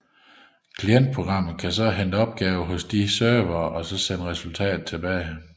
Klientprogrammet kan så hente opgaver hos disse servere og sende resultater tilbage